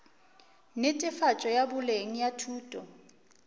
netefatšo ya boleng ya thuto